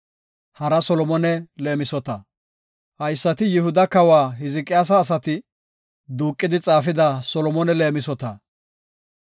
Haysati Yihuda kawa Hizqiyaasa asati duuqidi xaafida Solomone leemisota.